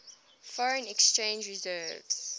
foreign exchange reserves